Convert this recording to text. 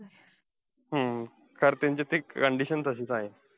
हम्म कारण त्याची ती condition तशीच आहे.